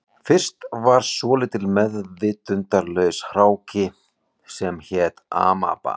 Fyrst var svolítill meðvitundarlaus hráki sem hét amaba